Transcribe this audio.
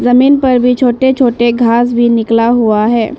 जमीन पर भी छोटे छोटे घास भी निकला हुआ है।